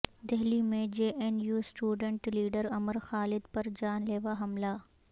دہلی میں J N U student leader Umar Khalid پر جان لیوا حملہ